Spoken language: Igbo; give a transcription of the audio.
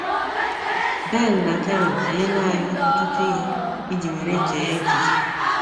Ben na Karen enyeela anyị ọtụtụ ihe iji were chee echiche.